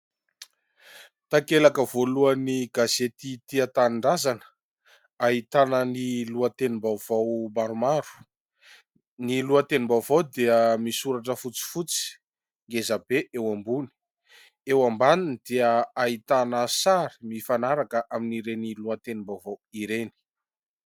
Takelaka voalohany gazety Tia Tanindrazana ahitana ny lohatenim-baovao maromaro ny lohatenim-baovao dia misy soratra fotsifotsy ngezabe eo ambony, eo ambaniny dia ahitana sary mifanaraka amin' ireny lohatenim-baovao ireny.